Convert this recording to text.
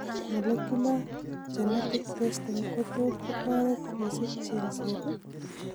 Molecular genetic testing' kotot kotoret kesich chengseet